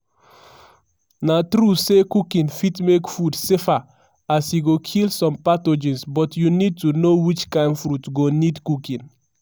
na true say cooking fit make food safer as e go kill some pathogens but you need to know which kain fruits go need cooking.